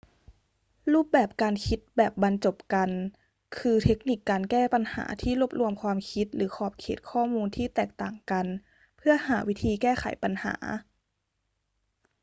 รูปแบบการคิดแบบบรรจบกัน คือเทคนิคการแก้ปัญหาที่รวบรวมความคิดหรือขอบเขตข้อมูลที่แตกต่างกันเพื่อหาวิธีแก้ไขปัญหา